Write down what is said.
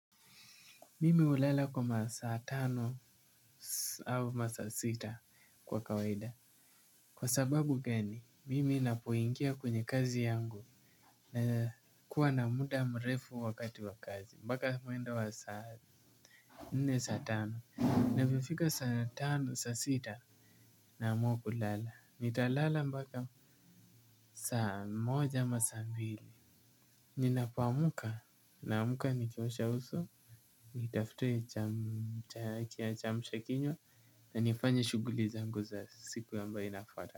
Mimi hulala kwa masaa tano au masaa sita kwa kawaida. Kwa sababu gani, mimi ninapoingia kwenye kazi yangu nakuwa na muda mrefu wakati wa kazi mbaka mwendo wa saa nne, saa tano. Naweza fika saa tano, saa sita. Naamua kulala. Nita lala mbaka saa moja ama saa mbili. Ninapoamka, na amka nikiosha uso nitafute cha kiamsha kinywa na nifanye shughuli zangu za siku ambayo inafwata.